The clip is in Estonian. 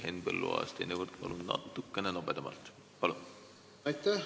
Henn Põlluaas, teinekord palun natukene nobedamalt!